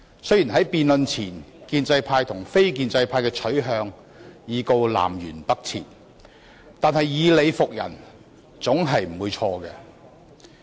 雖然建制派和非建制派的取向在辯論前已是南轅北轍，但以理服人總不會錯。